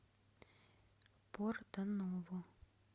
порто ново